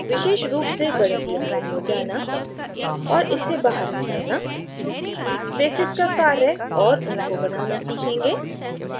विशेष रूप से गणितीय mode में जाना और इससे बाहर निकलना spaces का कार्य और उनको बनाना सीखेंगे